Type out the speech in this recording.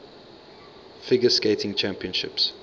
figure skating championships